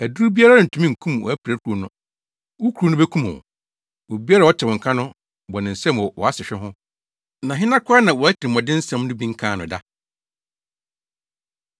Aduru biara rentumi nkum wʼapirakuru no; wo kuru no bekum wo. Obiara a ɔte wo nka no bɔ ne nsam wɔ wʼasehwe ho, Na hena koraa na wʼatirimɔdensɛm no bi nkaa no da?